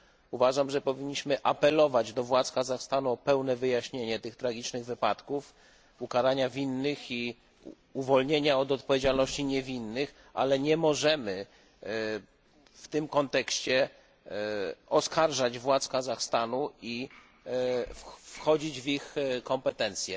Uważam, że powinniśmy apelować do władz Kazachstanu o pełne wyjaśnienie tych tragicznych wypadków, ukaranie winnych i uwolnienie od odpowiedzialności niewinnych, ale nie możemy w tym kontekście oskarżać władz Kazachstanu i wchodzić w ich kompetencje.